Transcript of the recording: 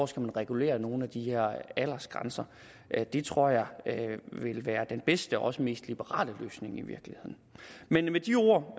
skal regulere nogle af de her aldersgrænser det tror jeg vil være den bedste også mest liberale løsning men med de ord